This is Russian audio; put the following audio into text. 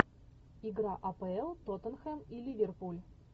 игра апл тоттенхэм и ливерпуль